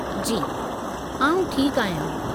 जी, आउं ठीकु आहियां।